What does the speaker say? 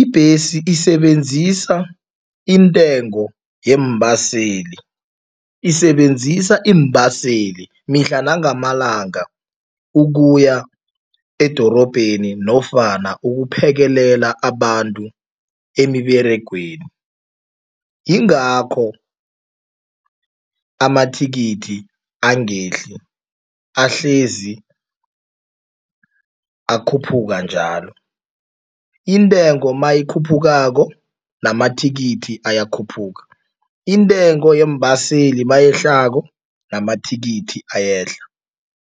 ibhesi isebenzisa intengo yeembaseli. Isebenzisa iimbaseli mihla nangamalanga ukuya edorobheni nofana ukuphekela abantu emiberegweni, yingakho amathikithi angehli, ahlezi akhuphuka njalo. Intengo mayikhuphukako namathikithi ayakhuphuka, intengo yeembaseli mayehlako namathikithi ayehla.